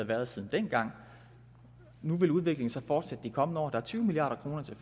været siden dengang nu vil udviklingen så fortsætte de kommende år der er tyve milliard kroner til